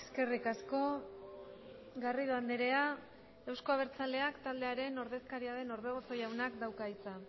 eskerrik asko garrido andrea euzko abertzaleak taldearen ordezkaria den orbegozo jaunak dauka hitza